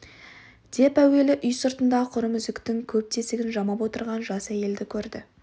деп әуелі үй сыртында құрым үзіктің көп тесігін жамап отырған жас әйелді көрді